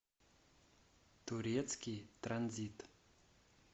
турецкий транзит